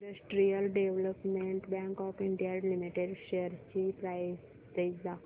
industrial development bank of India limited shares ची price range दाखव